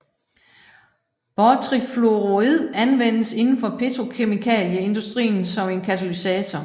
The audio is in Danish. Bortrifluorid anvendes indenfor petrokemikalieindustrien som en katalysator